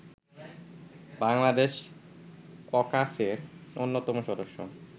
বাংলাদেশ ককাসের অন্যতম সদস্য